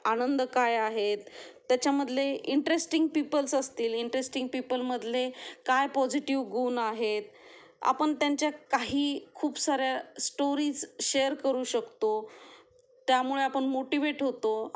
आनंद काय आहेत, त्याच्या मधे इंटरेस्टिंग पीपल असतील, इंटरेस्टिंग पीपल मधले काय पॉजिटिव्ह गुण आहेत, आपण त्यांच्या काही खूप सारे स्टोरीज शेअर करू शकतो त्यामुळे आपण मोटिवेट होतो.